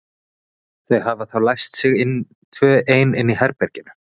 Þau hafa þá læst sig tvö ein inni í herberginu.